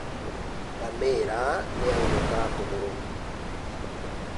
Ngamĩra nĩ yaunĩka kũgũrũ.